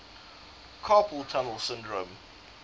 carpal tunnel syndrome